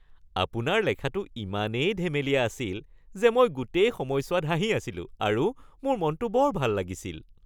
আপোনাৰ লেখাটো ইমানেই ধেমেলীয়া আছিল যে মই গোটেই সময়ছোৱাত হাঁহি আছিলোঁ আৰু মোৰ মনটো বৰ ভাল লাগিছিল